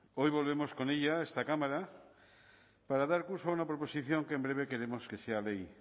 hoy volvemos con ella a esta cámara para dar curso a una proposición que en breve queremos que sea ley